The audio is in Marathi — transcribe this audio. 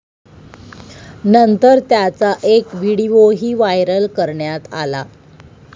नंतर त्याचा एक व्हिडीओही व्हायरल करण्यात आला.